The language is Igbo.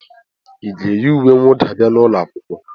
Ị ga-eyi uwe mwụda bia n'ụlọ akwụkwọ?